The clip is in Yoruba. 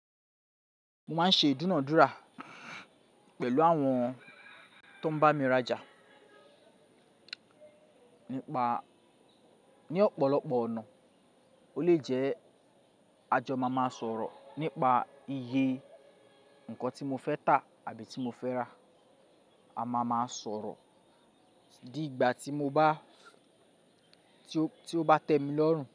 Mo máa ń ṣe ìdúnadúrà pẹ̀lú àwọn tó ń bá mi rajà. Ni ọ̀pọ̀lọpọ̀ ọ̀nà, ó le jẹ́ a jọ máa máa sọ̀rọ̀ nípa iye nǹkan tí mo fẹ́ tà àbí tí mo fẹ́ rà, a máa máa sọ̀rọ̀ dí ìgbà tí ó bá tẹ́ mi lọ́rùn.